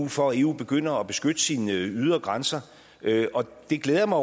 for at eu begynder at beskytte sine ydre grænser og det glæder jeg mig